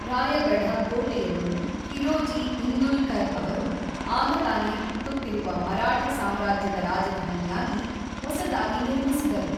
ರಾಯಗಢ ಕೋಟೆಯನ್ನು ಹಿರೋಜಿ ಇಂದುಲ್ಕರ್ ಅವರು ಆಗತಾನೆ ಹುಟ್ಟುತ್ತಿರುವ ಮರಾಠ ಸಾಮ್ರಾಜ್ಯದ ರಾಜಧಾನಿಯಾಗಿ, ಹೊಸದಾಗಿ ನಿರ್ಮಿಸಿದರು.